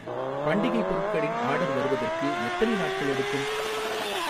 பண்டிகை பொருட்களின் ஆர்டர் வருவதற்கு எத்தனை நாட்கள் எடுக்கும்?